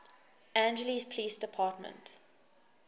angeles police department